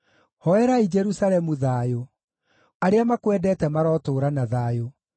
Hoerai Jerusalemu thayũ: “Arĩa makwendete marotũũra na thayũ.